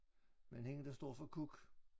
Men hender der står for kuk